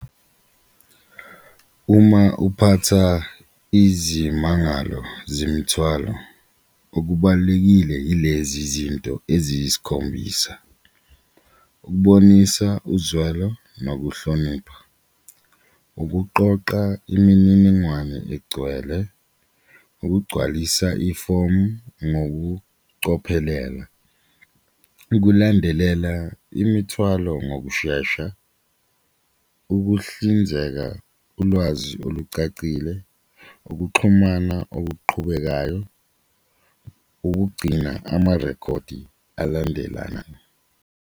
Uma uphatha izimangalo zemithwalo okubalulekile yilezi zinto eziyisikhombisa, ukubonisa uzwelo nokuhlonipha, ukuqoqa imininingwane egcwele, ukugcwalisa ifomu ngokucophelela, ukulandelela imithwalo ngokushesha, ukuhlinzeka ulwazi olucacile, ukuxhumana okuqhubekayo, ukugcina amarekhodi alandelana.